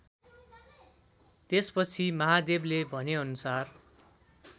त्यसपछि महादेवले भनेअनुसार